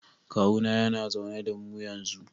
Kawuna yana zaune da mu yanzu.